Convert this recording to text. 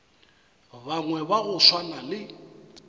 bangwe ba go swana le